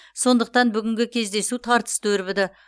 сондықтан бүгінгі кездесу тартысты өрбіді